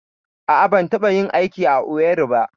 A'a, ban taɓa yin aiki a Owerri ba.